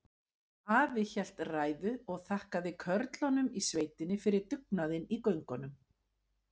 Afi hélt ræðu og þakkaði körlunum í sveitinni fyrir dugnaðinn í göngunum.